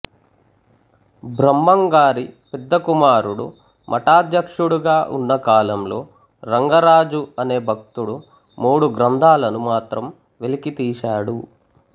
బ్రహంగారి పెద్దకుమారుడు మఠాధ్యక్షుడుగా ఉన్న కాలంలో రంగరాజు అనే భక్తుడు మూడు గ్రంథాలను మాత్రం వెలికితీశాడు